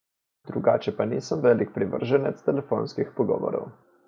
Drugače pa nisem velik privrženec telefonskih pogovorov.